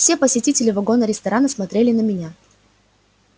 все посетители вагона-ресторана смотрели на меня